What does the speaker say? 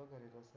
बाकी